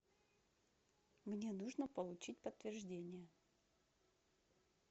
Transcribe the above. мне нужно получить подтверждение